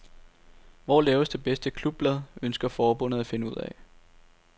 Hvor laves det bedste klubblad, ønsker forbundet at finde ud af.